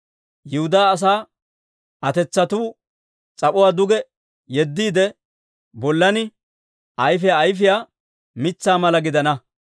Yihudaa asaa atetsatuu s'ap'uwaa duge yeddiide, bollan ayfiyaa ayfiyaa mitsaa mala gidana.